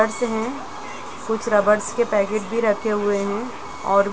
Colours है। कुछ rubbers के पैकेट भी रखे हुए हैं। और --